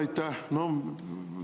Aitäh!